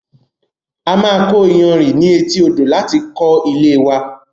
A máa kọ iyanrìn ní etí odò láti kó ilée wa